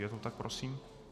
Je to tak prosím?